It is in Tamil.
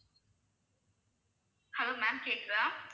hello ma'am கேட்குதா